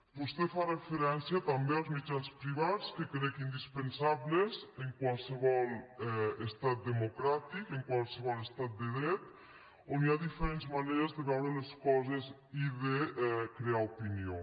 vostè fa referència també als mitjans privats que crec indispensables en qualsevol estat democràtic en qualsevol estat de dret on hi ha diferents maneres de veure les coses i de crear opinió